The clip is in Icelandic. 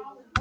kom.